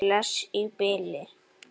Bless í bili!